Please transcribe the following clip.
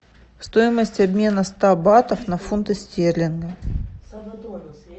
стоимость обмена ста батов на фунты стерлингов